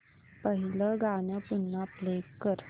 पहिलं गाणं पुन्हा प्ले कर